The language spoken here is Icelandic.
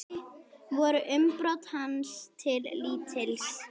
Voru umbrot hans til lítils.